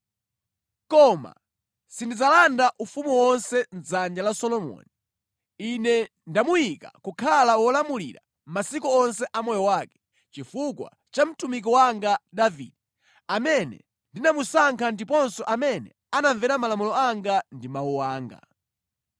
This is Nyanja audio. “ ‘Koma sindidzalanda ufumu wonse mʼdzanja la Solomoni. Ine ndamuyika kukhala wolamulira masiku onse a moyo wake chifukwa cha mtumiki wanga Davide, amene ndinamusankha ndiponso amene anamvera malamulo anga ndi mawu anga.